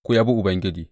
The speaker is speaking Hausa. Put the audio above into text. Ku yabi Ubangiji!